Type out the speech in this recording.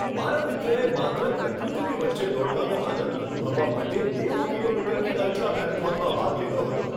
મારા મિત્રે માત્ર પ્રકૃતિની વચ્ચે દોડવાનો આનંદ અનુભવવા માટે નેવું કિલોમીટરની અલ્ટ્રા મેરેથોનમાં ભાગ લીધો હતો.